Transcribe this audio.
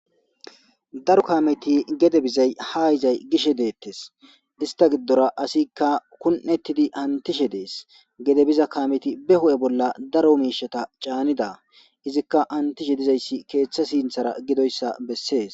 Daro kaameththi gede bizay ha yizay bishe deetees. Estta giddora asikka kun7atidi hamutishe de7ees. gede biza kaame ba huphe bolla daro miishshata caanida. Izikka hamutishe dizayssi keeththe sinthera gidoyssa besees.